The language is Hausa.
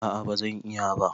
A'a ba zan iya ba